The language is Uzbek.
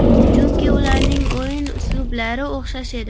Chunki ularning o‘yin uslublari o‘xshash edi.